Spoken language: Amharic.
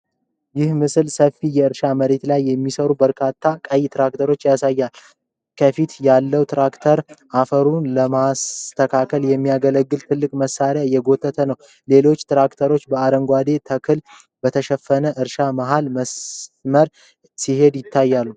ይህ ምስል ሰፊ የእርሻ መሬት ላይ የሚሰሩ በርካታ ቀይ ትራክተሮችን ያሳያል። ከፊት ያለው ትራክተር አፈሩን ለማስተካከል የሚያገለግል ትልቅ መሳሪያ እየጎተተ ነው። ሌሎች ትራክተሮችም በአረንጓዴ ተክል በተሸፈነ እርሻ መሃል በመስመር ሲሄዱ ይታያሉ።